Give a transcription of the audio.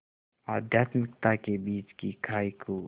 आध्यात्मिकता के बीच की खाई को